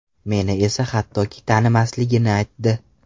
Meni esa hattoki tanimasligini aytdi!